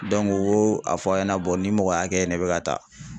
o y'o a fɔ a ɲɛna nin mɔgɔ hakɛ ne bɛ ka taa